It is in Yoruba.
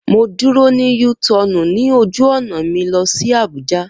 Mo dúró ní U tọọnu ní ojú ọ̀nà mi lọ sí Abuja